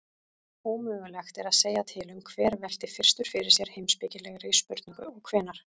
Ómögulegt er að segja til um hver velti fyrstur fyrir sér heimspekilegri spurningu og hvenær.